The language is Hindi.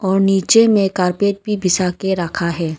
और नीचे में कार्पेट भी बिछा के रखा है।